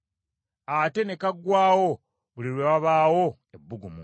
ate ne kaggwaawo buli lwe wabaawo ebbugumu.